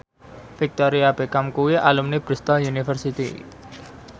Victoria Beckham kuwi alumni Bristol university